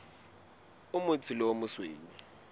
o motsho le o mosweu